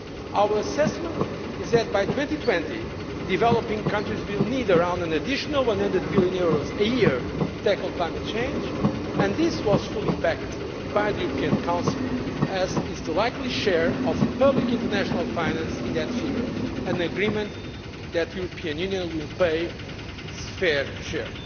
Our assessment is that by 2020, developing countries will need around an additional EUR 100 billion a year to tackle climate change and this was fully backed by the European Council, as is the likely share of public international finance in that figure, and agreement that the European Union will pay its fair share.